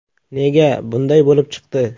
Nega bunday bo‘lib chiqdi?